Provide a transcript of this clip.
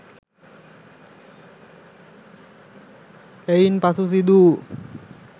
එයින් පසු සිදු වූ